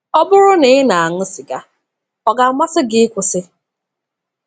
Ọ bụrụ na ị na-aṅụ sịga, ọ ga-amasị gị ịkwụsị?